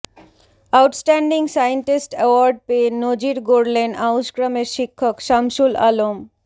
out standing scientist award পেয়ে নজির গড়লেন আউসগ্রামের শিক্ষক সামশুল আলম